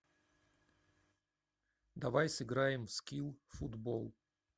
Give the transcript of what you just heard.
давай сыграем в скил футбол